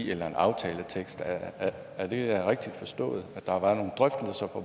eller en aftaletekst er det rigtigt forstået at der var nogle drøftelser og